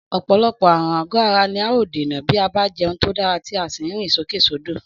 Ọ̀pọ̀lọpọ̀ àrùn àgọ́ ara ni a óò dènà bí a bá jẹun tó dára tí a sì ń rìn sókèsódò